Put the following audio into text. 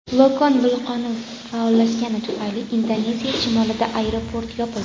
Lokon vulqoni faollashgani tufayli Indoneziya shimolida aeroport yopildi.